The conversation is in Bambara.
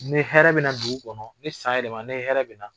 Ne hɛɛrɛ bɛ na dugu kɔnɔ ni san yɛlɛmɛ na ni hɛɛrɛ bɛ na